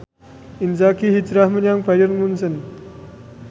Inzaghi hijrah menyang Bayern Munchen